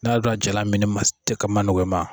N'i y'a dɔn a jalan mini ma nɔgɔ i ma.